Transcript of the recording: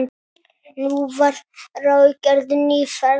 Nú var ráðgerð ný ferð.